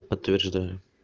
подтверждаю